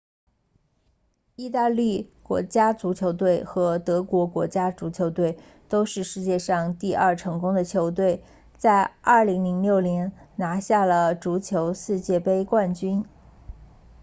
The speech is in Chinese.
意大利国家足球队和德国国家足球队都是世界上第二成功的球队在2006年拿下了足球世界杯冠军